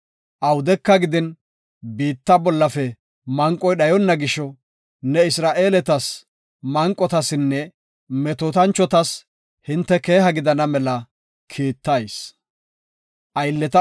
Awudeka gidin, biitta bollafe manqoy dhayonna gisho, ne Isra7eeletas, manqotasinne metootanchotas hinte keeha gidana mela kiittayis.